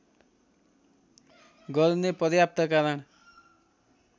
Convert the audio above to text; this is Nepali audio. गर्ने पर्याप्त कारण